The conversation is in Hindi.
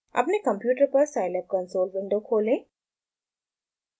अपने कंप्यूटर पर साईलैब कंसोल विंडो खोलें